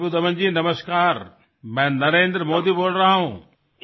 hello Ripudaman ji নমস্কাৰ মই নৰেন্দ্ৰ মোদীয়ে কৈ আছো